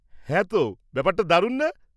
-হ্যাঁ তো! ব্যাপারটা দারুণ না?